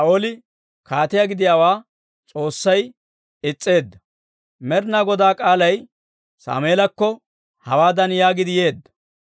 Med'inaa Godaa k'aalay Sammeelakko hawaadan yaagiidde yeedda;